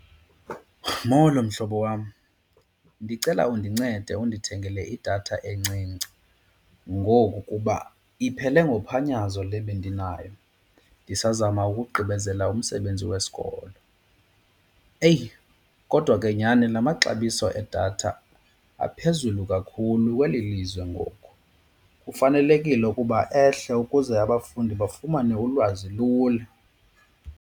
Molo, mhlobo wam. Ndicela undincede undithengele idatha encinci ngoku kuba iphele ngophanyazo le bendinayo ndisazama ukugqibezela umsebenzi wesikolo. Eyi, kodwa ke nyhani la maxabiso edatha aphezulu kakhulu kweli lizwe ngoku kufanelekile ukuba ehle ukuze abafundi bafumane ulwazi lula.